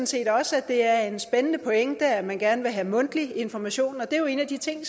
set også at det er en spændende pointe at man gerne vil have mundtlig information og det er jo en af de ting